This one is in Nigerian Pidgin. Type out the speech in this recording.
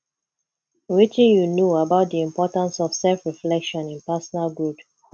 wetin you know about di importance of selfreflection in personal growth